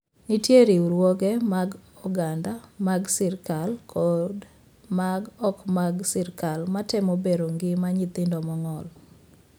Nitie riwruoge mag oganda, mag sirkal, kod ma ok mag sirkal matemo bero ngima nyithindo mong'ol.